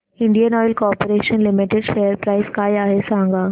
Indian oil corporation limited share price काय आहे सांगा